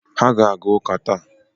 Ha aga-aga ụka taa